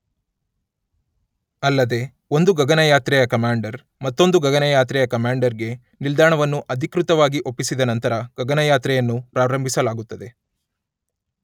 ಅಲ್ಲದೇ ಒಂದು ಗಗನಯಾತ್ರೆಯ ಕಮಾಂಡರ್ ಮತ್ತೊಂದು ಗಗನಯಾತ್ರೆಯ ಕಮಾಂಡರ್ ಗೆ ನಿಲ್ದಾಣವನ್ನು ಅಧಿಕೃತವಾಗಿ ಒಪ್ಪಿಸಿದ ನಂತರ ಗಗನಯಾತ್ರೆಯನ್ನು ಪ್ರಾರಂಭಿಸಲಾಗುತ್ತದೆ.